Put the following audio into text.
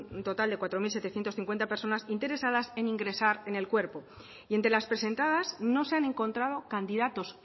un total cuatro mil setecientos cincuenta personas interesadas en ingresar en el cuerpo y entre las presentadas no se han encontrado candidatos